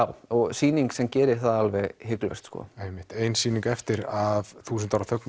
sýning sem gerir það alveg hiklaust einmitt ein sýning eftir af þúsund ára þögn í